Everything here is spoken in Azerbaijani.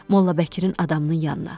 Molla Bəkirin adamının yanına.